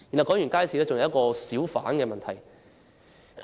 除了街市，還有小販的問題。